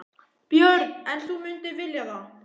Björn: En þú mundir vilja það?